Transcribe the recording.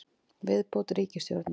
Viðbót ritstjórnar: